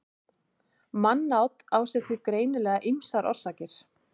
mannát á sér því greinilega ýmsar orsakir